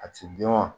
A ti dun wa